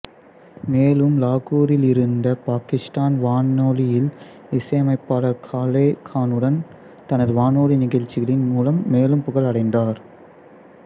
மேலும் லாகூரில் இருந்த பாக்கிஸ்தான் வானொலியில் இசையமைப்பாளர் காலே கானுடன் தனது வானொலி நிகழ்ச்சிகளின் மூலம் மேலும் புகழ் அடைந்தார்